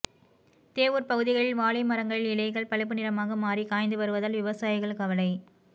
தேவூர் பகுதிகளில் வாழை மரங்களில் இலைகள் பழுப்பு நிறமாக மாறி காய்ந்து வருவதால் விவசாயிகள் கவலை